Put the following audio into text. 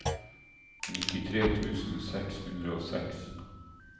nittitre tusen seks hundre og seks